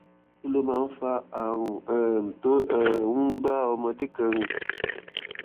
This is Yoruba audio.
kí ló máa ń fa àrùn um tó um ń bá ọmọdé kan rìn